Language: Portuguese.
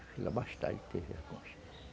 Filho, ele teve